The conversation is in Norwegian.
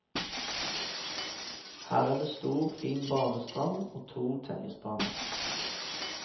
Her er det stor fin badestrand og to tennisbaner.